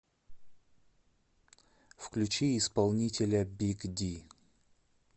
включи исполнителя биг ди